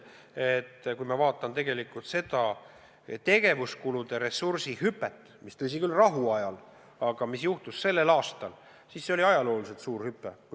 Kui ma vaatan seda tegevuskulude ressursi hüpet, mis sai teoks sel aastal, siis tuleb öelda, et rahuajal on see ajalooliselt suur hüpe.